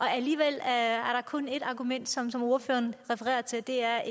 alligevel er kun ét argument som som ordføreren refererer til og det er